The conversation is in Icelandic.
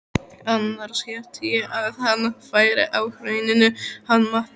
Annars hélt ég að hann væri á Hrauninu hann Matti.